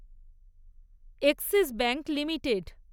axis bank limited